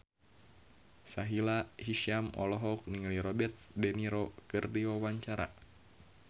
Sahila Hisyam olohok ningali Robert de Niro keur diwawancara